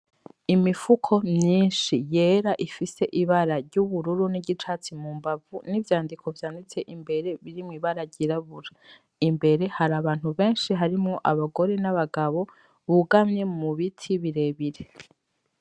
Imifuko myinshi yera ifise ibara ry'ubururu n'igicatsi mu mbavu n'ivyandiko vyanditse imbere birimwe ibaragyirabura imbere hari abantu benshi harimwo abagore n'abagabo bugamye mu biti birebire.